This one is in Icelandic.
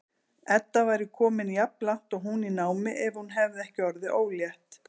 Edda væri komin jafnlangt og hún í námi ef hún hefði ekki orðið ólétt.